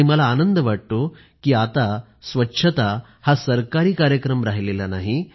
आणि मला आनंद वाटतो कि आता स्वच्छता हा सरकारी कार्यक्रम राहिलेला नाही